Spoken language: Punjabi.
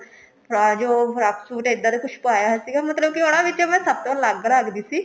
ਤਾਂ ਜੋ ਫਰਾਕ suit ਇੱਦਾਂ ਦਾ ਕੁੱਛ ਪਾਇਆ ਹੋਇਆ ਸੀਗਾ ਮਤਲਬ ਕਿ ਉਹਨਾ ਵਿੱਚੋ ਮੈਂ ਸਭ ਤੋਂ ਅਲੱਗ ਲੱਗਦੀ ਸੀ